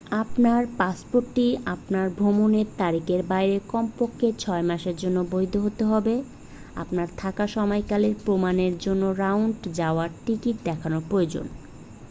আপনার পাসপোর্টটি আপনার ভ্রমণের তারিখের বাইরে কমপক্ষে 6 মাসের জন্য বৈধ হতে হবে। আপনার থাকার সময়কাল প্রমানের জন্য রাউন্ড/যাওয়ার টিকিট দেখানো প্রয়োজন।